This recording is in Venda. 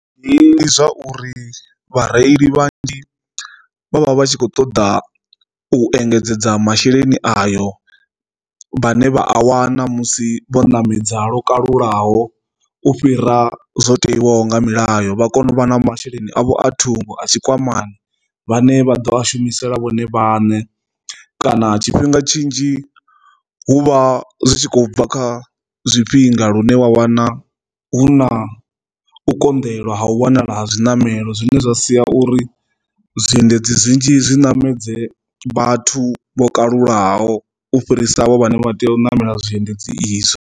Ndi zwa uri vhareili vha ndi vhavha vhatshi kho ṱoḓa u engedzedza masheleni ayo vhane vha a wana musi vho ṋamedza lokalulaho u fhira zwo tewaho nga milayo vha kone u vha na masheleni avho a thungo a tshikwamani vhane vha ḓo a shumisela vhone vhaṋe, kana tshifhinga tshinzhi hu vha zwi tshi khou bva kha zwifhinga lu une wa wana hu na u konḓelwa ha u wanala ha zwiṋamelo zwine zwa sia uri zwiendedzi zwinzhi zwi ṋamedza vhathu vho kalulaho u fhirisa vho vhane vha tea u namela zwiendedzi izwo.